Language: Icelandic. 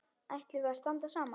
Ætlum við að standa saman?